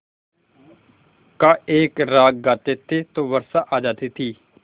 का एक राग गाते थे तो वर्षा आ जाती थी